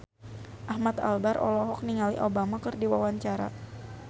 Ahmad Albar olohok ningali Obama keur diwawancara